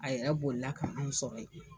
A yɛrɛ boli la ka anw sɔrɔ yen.